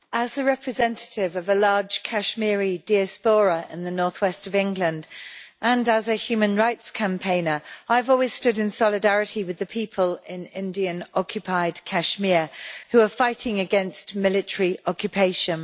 Madam President, as a representative of a large Kashmiri diaspora in the north west of England and as a human rights campaigner, I have always stood in solidarity with the people in Indian occupied Kashmir who are fighting against military occupation.